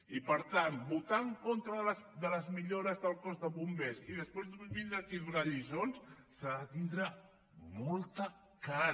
i per tant per votar en contra de les millores del cos de bombers i després vindre aquí a donar lliçons s’ha de tindre molta cara